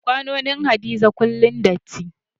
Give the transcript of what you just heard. Kwanonin Hadiza kullum datti.